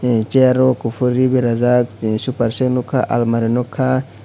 ai chair o kufur ree berajak superset nugka almari nugkha.